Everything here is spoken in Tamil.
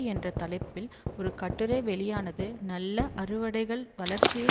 என்ற தலைப்பில் ஒரு கட்டுரை வெளியானது நல்ல அறுவடைகள் வளர்ச்சியை